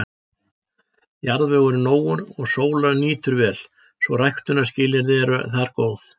Jarðvegur er nógur og sólar nýtur vel, svo ræktunarskilyrði eru þar góð.